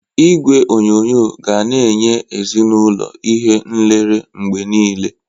Igwe onyonyo ga na-enye ezinaụlọ ihe nlere mgbe niile